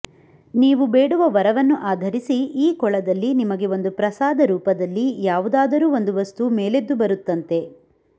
ನೀವು ಬೇಡುವ ವರವನ್ನು ಆಧರಿಸಿ ಈ ಕೊಳದಲ್ಲಿ ನಿಮಗೆ ಒಂದು ಪ್ರಸಾದ ರೂಪದಲ್ಲಿ ಯಾವುದಾದರೂ ಒಂದು ವಸ್ತು ಮೇಲೆದ್ದು ಬರುತ್ತಂತೆ